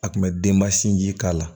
A kun bɛ denba sinji k'a la